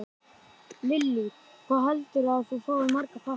Lillý: Hvað heldurðu að þú fáir marga pakka?